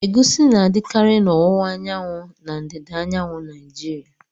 Egusi na-adịkarị na owuwa anyanwu na ndịda anyanwụ Naijiriya.